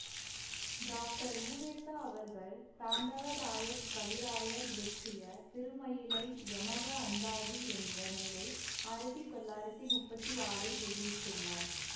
doctor உவேசா அவர்கள் தாண்டவராயக் கவிராயர் இயற்றிய திருமயிலை யமக அந்தாதி என்ற நூலை ஆயிரத்தி தொள்ளாயிரத்தி முப்பத்தி ஆறில் வெளியிட்டுள்ளார்